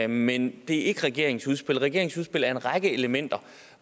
men det er ikke regeringens udspil regeringens udspil er en række elementer